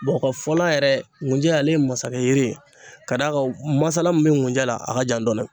mɔgɔ ka fɔla yɛrɛ gunjɛ ale ye masakɛ yiri ye k'a d'a ka masala min be ŋunjɛ la a ka jan dɔɔni.